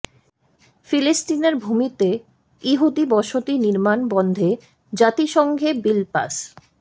ফিলিস্তিনের ভূমিতে ইহুদি বসতি নির্মাণ বন্ধে জাতিসংঘে বিল পাশ